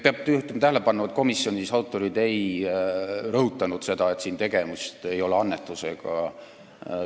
Peab juhtima tähelepanu, et komisjonis autorid ei rõhutanud seda, et siin ei ole tegemist annetusega.